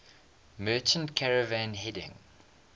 merchant caravan heading